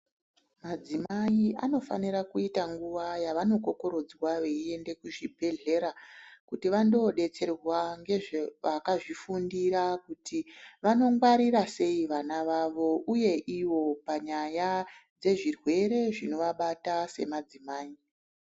Madzimai anofanira kuita nguwa yavanokokorodzwa veiende kuzvibhedhlera kuti vandodetserwa ngevakazvifundira kuti vanongwarira sei ana vavo uye ivo panyaya dzezvirwere zvinovabata semadzimai.